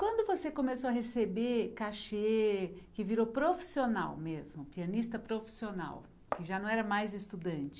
Quando você começou a receber cachê, que virou profissional mesmo, pianista profissional, que já não era mais estudante?